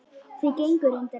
Þau gengu reyndar þétt.